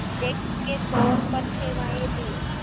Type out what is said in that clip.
अध्यक्ष के तौर पर सेवाएं दीं